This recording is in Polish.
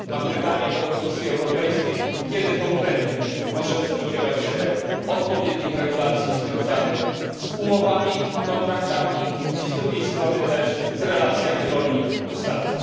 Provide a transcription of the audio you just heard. Chciałbym zapytać Komisję Europejską, kiedy konkretnie możemy spodziewać się odpowiednich regulacji związanych z umowami, kontraktami i z drugiej strony też z relacjami rolnik dostawca?